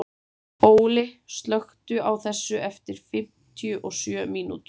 Óli, slökktu á þessu eftir fimmtíu og sjö mínútur.